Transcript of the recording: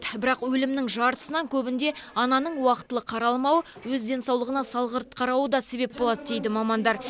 бірақ өлімнің жартысынан көбінде ананың уақытылы қаралмауы өз денсаулығына салғырт қарауы да себеп болады дейді мамандар